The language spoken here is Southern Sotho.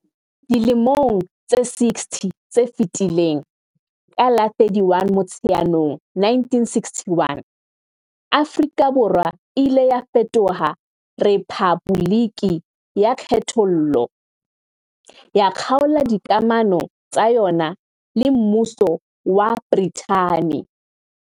Dilemong tse 60 tse fetileng, ka la 31 Motsheanong 1961, Afrika Borwa e ile ya fetoha rephaboliki ya kgethollo, ya kgaola dikamano tsa yona le Mmuso wa Brithani.